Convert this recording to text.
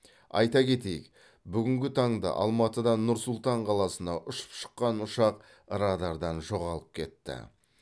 айта кетейік бүгінгі таңда алматыдан нұр сұлтан қаласына ұшып шыққан ұшақ радардан жоғалып кетті